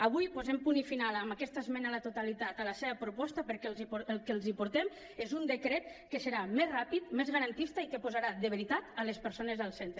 avui posem punt final amb aquesta esmena a la totalitat a la seva proposta perquè el que els portem és un decret que serà més ràpid més garantista i que posarà de veritat les persones al centre